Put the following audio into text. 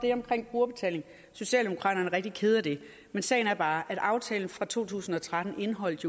brugerbetaling socialdemokraterne er rigtig kede af det men sagen er bare at aftalen fra to tusind og tretten jo indeholdt